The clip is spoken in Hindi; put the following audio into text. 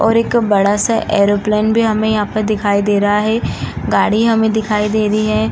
और एक बड़ा सा एरोप्लेन भी हमे यहां पे दिखाई दे रहा है। गाड़ी हमें दिखाई दे रही है।